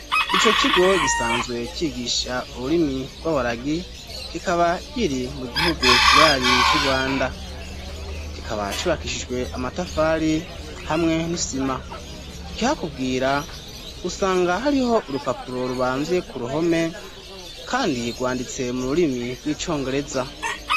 Ico kigo gisanzwe cigisha ururimi rw'abaragi, kikaba kiri mu gihugu kibanyi c'Urwanda, kikaba cubakishijwe amatafari hamwe n'isima. Ikihakubwira usanga hariho urupapuro rubamvye ku ruhome kandi rwanditse mu rurimi rw'icongereza.